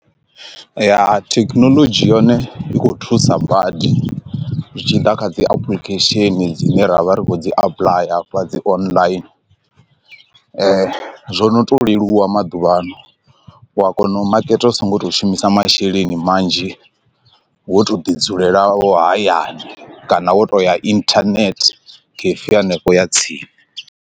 Ya thekhinolodzhi yone i kho thusa badi zwi tshi ḓa kha dzi application dzine ra vha ri kho dzi apḽaya hafha dzi online, zwo no to leluwa wa maḓuvhano u a kona u maketa u so ngo to shumisa masheleni manzhi wo to ḓi dzulela wo hayani kana wo tou ya internet cafe ya henefho ya tsini.